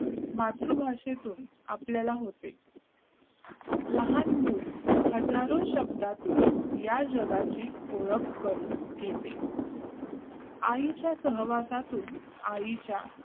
मातृभाषेतून आपल्याला होते लहान मुल हजारो शब्दातून या जगाची ओळख करून घेते आईच्या सहवासातून आईच्या